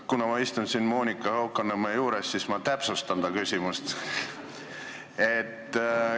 Kuna ma istun siin Monika Haukanõmme lähedal, siis ma täpsustan ta küsimust.